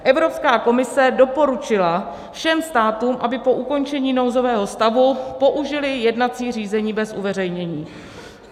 Evropská komise doporučila všem státům, aby po ukončení nouzového stavu použily jednací řízení bez uveřejnění.